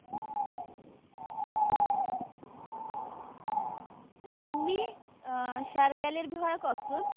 Jimmy Sher গিলৰ বিষয়ে কওকচোন